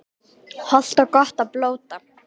Hollt og gott að blóta